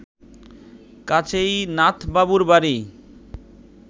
কাছেই নাথবাবুর বাড়ি